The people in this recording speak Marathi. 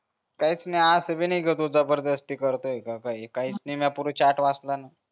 काहीच नि असं भी नाही कि तो जबरदस्ती करतोय का काही काहीच नि मी पुरा चाट वाचला ना